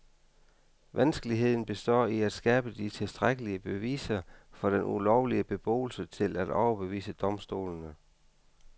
Vanskeligheden består i at skabe de tilstrækkelige beviser for den ulovlige beboelse til at overbevise domstolene.